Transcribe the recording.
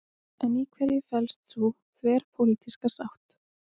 En í hverju felst sú þverpólitíska sátt?